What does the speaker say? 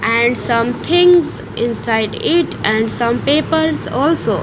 And some things inside it and some papers also.